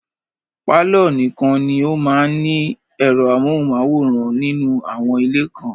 Pàlọ́ nìkan ni ó máa ń ní ẹ̀rọ amóhùnmáwòrán nínú àwọn ilé kan